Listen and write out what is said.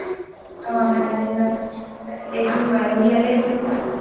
অ ঠাণ্ডাৰ দিনত তাৰপিছত এদিন মায়োদিয়ালৈ গ’লো